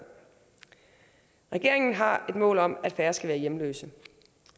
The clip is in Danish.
regeringen har et mål om at færre skal være hjemløse